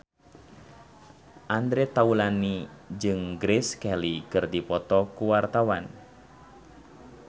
Andre Taulany jeung Grace Kelly keur dipoto ku wartawan